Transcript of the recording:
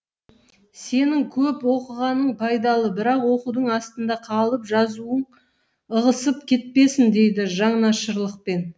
сенің көп оқығаның пайдалы бірақ оқудың астында қалып жазуың ығысып кетпесін дейді жанашырлықпен